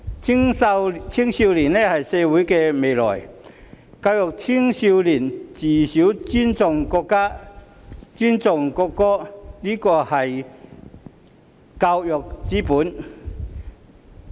青少年是社會的未來，教育青少年從小尊重國家、尊重國歌，這是教育之本。